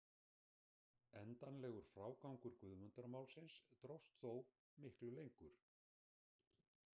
Endanlegur frágangur Guðmundarmálsins dróst þó miklu lengur.